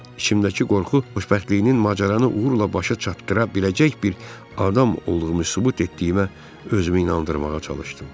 İçimdəki qorxu xoşbəxtliyinin macəranı uğurla başa çatdıra biləcək bir adam olduğumu sübut etdiyimə özümü inandırmağa çalışdım.